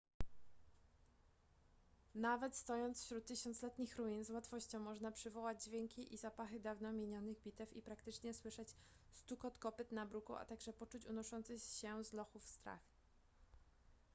nawet stojąc wśród tysiącletnich ruin z łatwością można przywołać dźwięki i zapachy dawno minionych bitew i praktycznie słyszeć stukot kopyt na bruku a także poczuć unoszący się z lochów strach